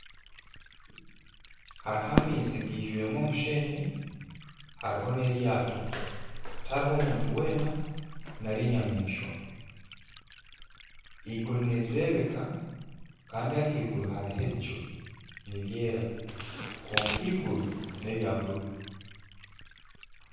Hariho amaizi gaijwiremu omusheenyi hariho neryato tihariho muntu weena nari enyamaishwa eiguru nirirebeka Kandi ahaiguru hariho ebicu nibyera kwonka eiguru nerya buru